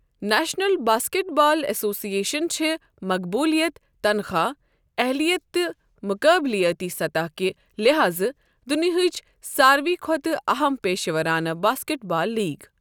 National basketball association چھےٚ مقبولیت، تنخواہ، اہلِیت تہٕ مقابلیٲتی سطح کہِ لحاظٕ دنیاہٕچ ساروٕے کھۄتہٕ اہم پیشورانہٕ باسکٮ۪ٹ بال لیگ ۔